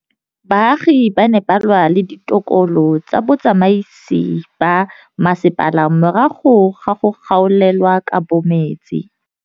Baagi ba ne ba lwa le ditokolo tsa botsamaisi ba mmasepala morago ga go gaolelwa kabo metsi.